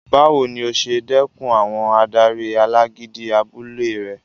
Báwo ni o ṣe dẹkùn àwọn adarí alágídí abúlé rẹ?